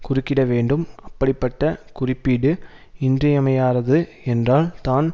குறுக்கிடவேண்டும் அப்படிப்பட்ட குறிப்பீடு இன்றியமையாதது என்றால் தான்